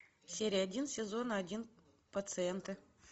серия один сезона один пациенты